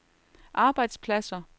arbejdspladser